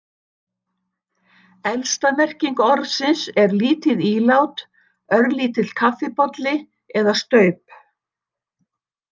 Elsta merking orðsins er, lítið ílát, örlítill kaffibolli eða staup.